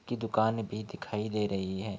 की दुकान भी दिखाई दे रही है।